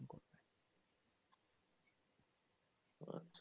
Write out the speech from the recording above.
আচ্ছা।